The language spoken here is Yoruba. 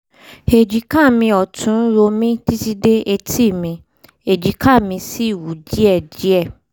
èjìká mi ọ̀tún ń ro mí títí dé etí mi èjìká mi sì wú díẹ̀díẹ̀